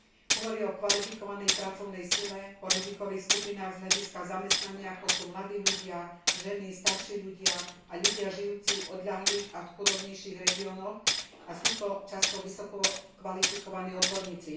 Hovorí o kvalifikovanej pracovnej sile, o rizikových skupinách z hľadiska zamestnania, ako sú mladí ľudia, ženy, starší ľudia a ľudia žijúci v odľahlých a chudobnejších regiónoch, a sú to často vysokokvalifikovaní odborníci.